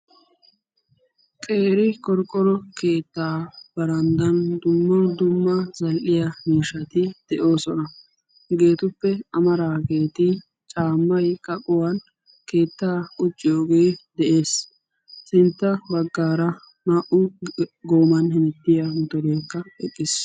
qeeri qorqqoro keettaa baranddan dumma dumma zal'iya miishshati de'oosona. hegeetuppe amaraageti caamaykka keettaa quciyooge de'ees.